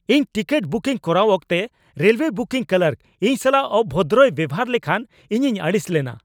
ᱤᱧ ticket booking ᱠᱚᱨᱟᱣ ᱚᱠᱛᱚ ᱨᱮᱞᱣᱮ ᱵᱩᱠᱤᱝ ᱠᱞᱟᱨᱠ ᱤᱧ ᱥᱟᱞᱟᱜ ᱚᱵᱷᱚᱫᱨᱚᱭ ᱵᱮᱣᱦᱟᱨ ᱞᱮᱠᱷᱟᱱ ᱤᱧᱤᱧ ᱟᱹᱲᱤᱥ ᱞᱮᱱᱟ ᱾